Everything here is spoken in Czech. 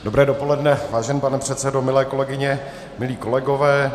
Dobré dopoledne, vážený pane předsedo, milé kolegyně, milí kolegové.